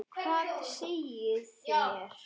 Hvað segið þér?